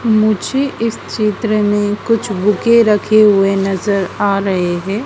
मुझे इस चित्र में कुछ बुके रखे हुए नज़र आ रहे हैं।